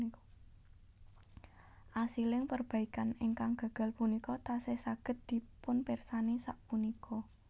Asiling perbaikan ingkang gagal punika tasih saged dipunpirsani sapunika